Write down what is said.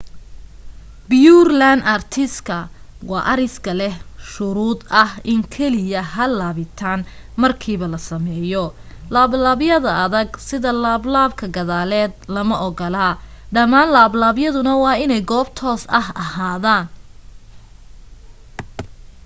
pureland artiska waa ariska leh shuruud ah in keliya hal laabitaan markiiba la sameeyo laablaabyada adag sida laablaabka gadaaleed lama ogola dhammaan laablaabyaduna waa inay goob toos ah ahaadaan